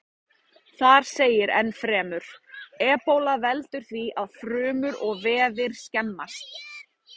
Þar segir ennfremur: Ebóla veldur því að frumur og vefir skemmast.